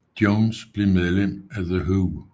Jones blev medlem af The Who